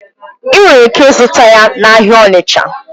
Ị nwere ike ịzụta ya n'ahịa Onicha.